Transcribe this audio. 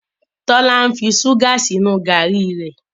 Tola ń ṣuga sínú garri re.